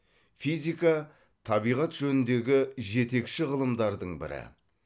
физика табиғат жөніндегі жетекші ғылымдардың бірі